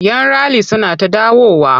Yan rali suna ta dawowa.